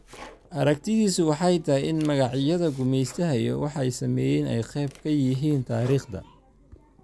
aragtidiisu waxay tahay in magacyada gumaystaha iyo waxay sameeyeen ay qayb ka yihiin taariikhda.